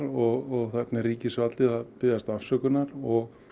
og þarna er ríkisvaldið að biðjast afsökunar og